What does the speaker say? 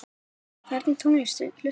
Á hvernig tónlist hlustar þú?